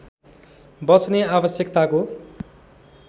बच्ने आवश्यकताको